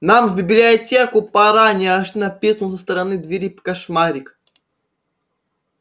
нам в библиотеку пора неожиданно пискнул со стороны двери кошмарик